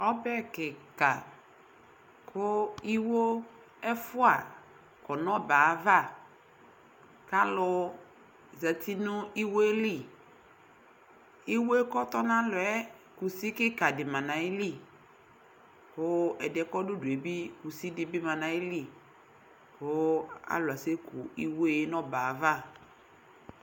Ɔbɛ kɩka kʋ iwo ɛfʋa ɔdʋ ɔbɛɛ ava K'alʋ zati n'iwoe li Iwoe k'ɔtɔ n'alɔɛ kusi kika dɩ ma n'ayili, kʋ ɛdɩɛ kɔdʋ udue bɩ kusi dɩ ma Kʋ alʋ asɛku iwoe n'ɔbɛɛ ava